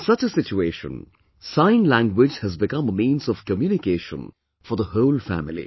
In such a situation, sign language has become a means of communication for the whole family